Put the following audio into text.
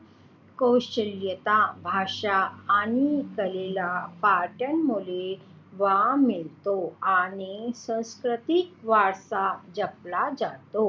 कौशल्यता भाषा आणि कलेला पर्यटनामुळे वाव मिळतो आणि सांस्कृतिक वारसा जपला जातो.